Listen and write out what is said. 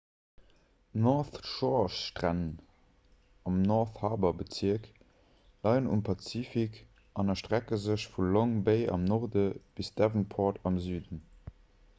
d''north shore'-stränn am 'north harbour'-bezierk leien um pazifik an erstrecke sech vu long bay am norde bis devonport am süden